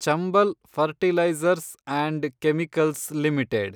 Chambal fertilisers and chemicals limited